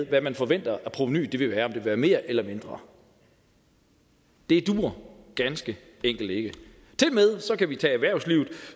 hvad man forventer at provenuet vil være om det vil være mere eller mindre det duer ganske enkelt ikke tilmed kan vi tage erhvervslivet